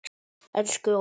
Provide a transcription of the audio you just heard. Elsku Óla.